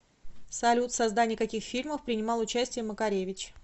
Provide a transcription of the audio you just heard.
салют в создании каких фильмов принимал участие макаревич